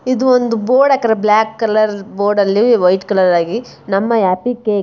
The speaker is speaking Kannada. ಇದು ಒಂದು ಬೋರ್ಡ್ ಹಾಕಿದರೆ ಬ್ಲಾಕ್ ಕಲರ್ ಅಲ್ಲಿ ವೈಖರಲ್ಲಿ ನಮ್ಮ ಹ್ಯಾಪಿ ಕೇಕ್ ---